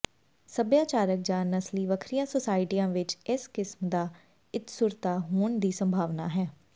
ਸੱਭਿਆਚਾਰਕ ਜਾਂ ਨਸਲੀ ਵੱਖਰੀਆਂ ਸੋਸਾਇਟੀਆਂ ਵਿੱਚ ਇਸ ਕਿਸਮ ਦਾ ਇਕਸੁਰਤਾ ਹੋਣ ਦੀ ਸੰਭਾਵਨਾ ਹੈ